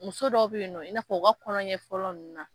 Muso dɔw bɛ yen nɔ i' na fɔ u ka kɔnlɔnɲɛ fɔlɔ ninnu na.